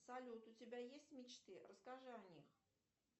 салют у тебя есть мечты расскажи о них